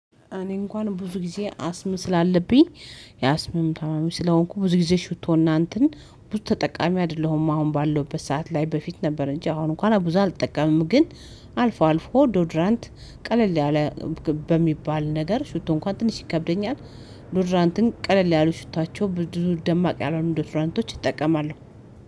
እኔ እንኳን ብዙ ጊዜ አስም ስላለብኝ የአስም ታማሚ ስለሆንኩ ብዙ ጊዜ ሽቶና እንትን ብዙ ተጠቃሚ አይደለሁም። አሁን ባለሁበት ሰዓት ላይ በፊት ነበር እንጂ አሁን እንኳን ብዙ አልጠቀምም። ግን አልፎ አልፎ ዶድራንት ቀለል ያለ በሚባል ነገር ሹቶ እንኳን ትንሽ ይከብደኛል። ዶድራንትን ቀለል ያሉ ሹቷቸው ብዙ ደማቅ ያልሆነ ዶትራንቶች እጠቀማለሁ።